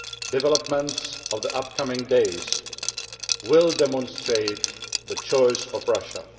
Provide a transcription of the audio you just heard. Developments in the upcoming days will demonstrate the choice of Russia.